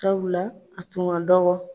Sabula a tun ka dɔgɔ